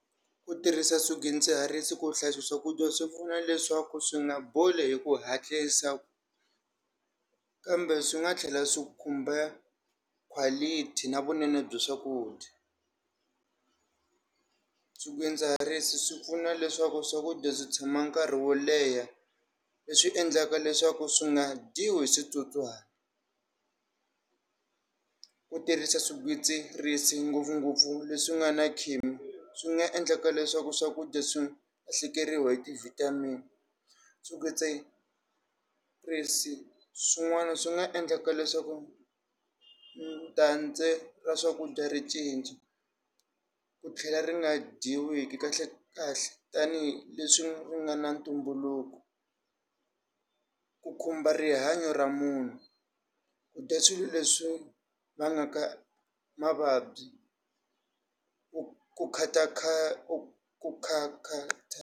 U tirhisa swigwitsirisi ku hlayisa swakudya swi pfuna leswaku swi nga boli hi ku hatlisa kambe swi nga tlhela swi khumba quality na vunene bya swakudya swidzidziharisi swi pfuna leswaku swakudya swi tshama nkarhi wo leha leswi endlaka leswaku swi nga dyiwi hi switsotswani ku tirhisa swigwitsirisi ngopfungopfu leswi nga na swi nga endleka leswaku swakudya swi lahlekeriwa hi ti vitamin swigwitsirisi swin'wana swi nga endlaka leswaku ra swakudya ri cinca ku tlhela ri nga dyiwi kahle kahle tanihileswi ri nga na ntumbuluko ku khumba rihanyo ra munhu kudya swilo leswi vangaka mavabyi ku ku khata kha ku khata.